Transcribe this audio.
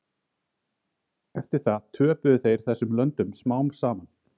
Eftir það töpuðu þeir þessum löndum smám saman.